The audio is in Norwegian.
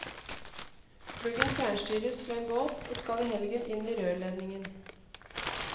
Pluggen fjernstyres fra en båt og skal i helgen inn i rørledningen.